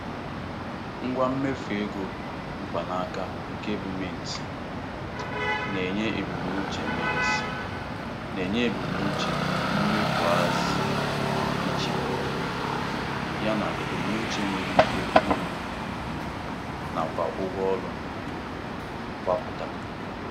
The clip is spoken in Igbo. Ngwa mmefu ego mkpanaka nke bụ Mint, na-enye ebumnuche Mint, na-enye ebumnuche mmefu ahaziri iche ya na ebumnuche enwere ike iru um na kwa ụgwọ ọrụ um mgbapụta.